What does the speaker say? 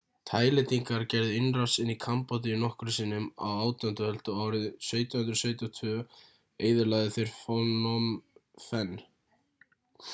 taílendingar gerðu innrás inn í kambódíu nokkrum sinnum á 18. öld og árið 1772 eyðilögðu þeir phnom phen